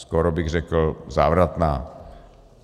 Skoro bych řekl závratná.